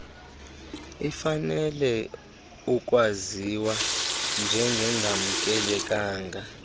ifanelwe ukwaziwa njengengamkelekanga